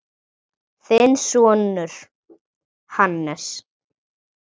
Þinn sonur, Hannes.